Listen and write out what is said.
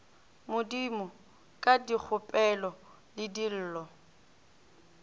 modimo ka dikgopelo le dillo